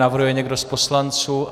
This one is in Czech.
Navrhuje někdo z poslanců?